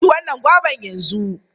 Ku ci wannan goban yanzu!